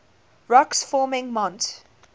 rocks forming mont